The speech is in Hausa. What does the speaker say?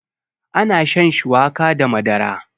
ana shan shuwaka da Madara